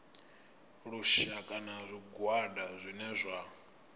lushaka na zwigwada zwine zwa